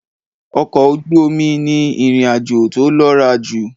Ọkọ̀ ojú omi ni ìrìna tó lọ́ra jù.